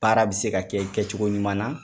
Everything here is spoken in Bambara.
Baara bi se ka kɛ kɛcogo ɲuman na